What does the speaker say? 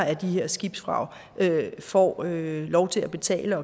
af de her skibsvrag får lov til at betale